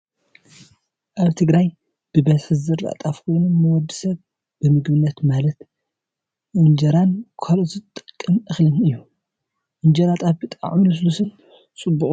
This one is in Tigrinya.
ኣብ ትግራይ ብበዝሒ ዝዝራእ ጣፍ ኮይኑ ንወዲ ሰብ ብምግብነት ማለት እንጀራን ካልእን ዝጠቅም እክሊ እዩ። እንጀራ ጣፍ ብጣዕሚ ልሱሉስን ፅቡቅን እዩ።